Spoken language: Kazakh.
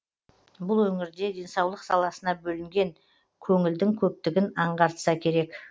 бұл өңірде денсаулық саласына бөлінген көңілдін көптігін аңғартса керек